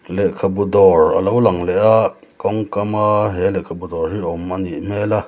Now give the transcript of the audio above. lehkhabu dawr a lo lang leh a kawngkam a he lehkhabu dawr hi awm anih hmel a.